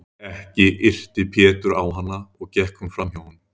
Ekki yrti Pétur á hana og gekk hún fram hjá honum.